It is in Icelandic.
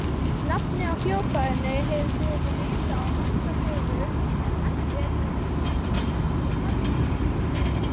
Nafnið á hljóðfærinu hefur verið ritað á marga vegu en mælt er með rithættinum harmóníka.